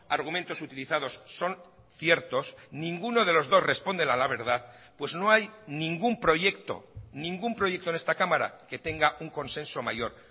argumentos utilizados son ciertos ninguno de los dos responden a la verdad pues no hay ningún proyecto ningún proyecto en esta cámara que tenga un consenso mayor